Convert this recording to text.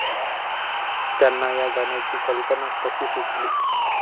त्यांना या गाण्याची कल्पना कशी सुचली?